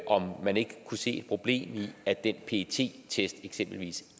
om man ikke kunne se et problem i at den pet test eksempelvis